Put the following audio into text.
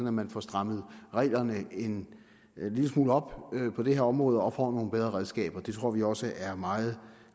at man får strammet reglerne en lille smule op på det her område og får nogle bedre redskaber det tror vi også er meget